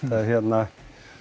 hérna